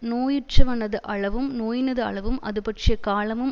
நோயுற்றவனது அளவும் நோயினது அளவும் அதுபற்றிய காலமும்